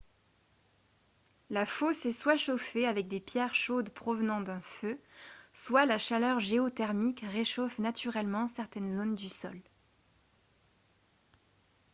la fosse est soit chauffée avec des pierres chaudes provenant d'un feu soit la chaleur géothermique réchauffe naturellement certaines zones du sol